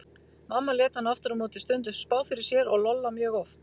Mamma lét hana aftur á móti stundum spá fyrir sér og Lolla mjög oft.